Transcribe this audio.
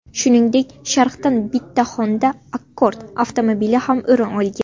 Shuningdek, sharhdan bitta Honda Accord avtomobili ham o‘rin olgan.